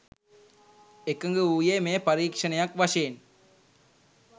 එකග වූයේ මෙය පරීක්ෂණයක් වශයෙන්